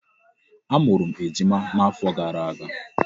Amụrụ m ejima n'afọ gara aga.